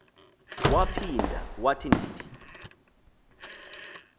waphinda wathi ndithi